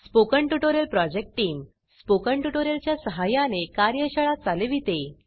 spoken tutorial project team spoken tutorial च्या सहाय्याने कार्यशाळा चालविते